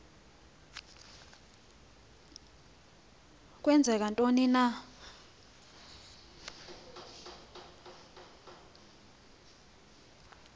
kwenzeka ntoni na